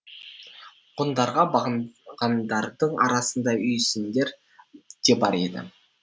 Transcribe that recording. ғұндарға бағынғандардың арасында үйсіндер де бар еді